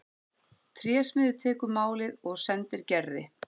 Trésmiður tekur málið og sendir Gerði.